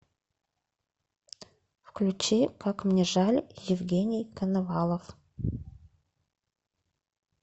включи как мне жаль евгений коновалов